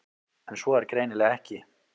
En svo er greinilega ekki.